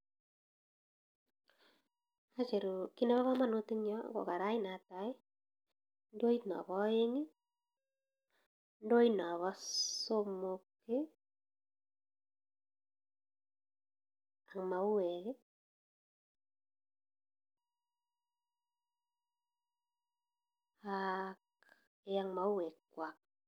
Kii Nepo kamanut Eng nyuu ko karat Netai ndoit Nepo aek ndoit Nepo somok AK.mauwek eeee AK mauweek kwak